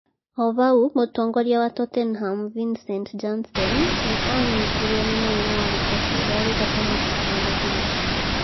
O hau, mũtongoria wa Tottenham, Vincent Janssen, nĩ aanyitirũo nĩ mũrimũ wa gũkua ciĩga arĩ gatagatĩ ka mũbira.